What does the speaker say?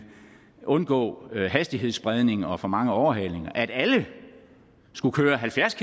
undgå hastighedsspredning og for mange overhalinger at alle skulle køre halvfjerds